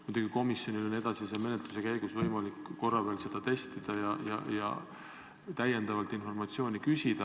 Muidugi komisjonil on edasise menetluse käigus võimalik korra veel seda testida ja täiendavalt informatsiooni küsida.